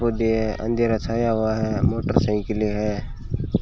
पौधे है अंधेरा छाया हुआ है मोटरसाइकिलें है।